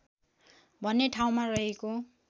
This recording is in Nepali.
भन्ने ठाउँमा रहेको